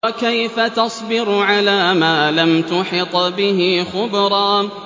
وَكَيْفَ تَصْبِرُ عَلَىٰ مَا لَمْ تُحِطْ بِهِ خُبْرًا